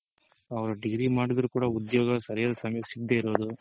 ಅವ್ರ್ degree ಮಾಡಿದ್ರು ಕೂಡ ಉದ್ಯೋಗ ಸರಿಯಾದ್ ಸಮಯಕ್ ಸಿಗದೆ ಇರೋದು.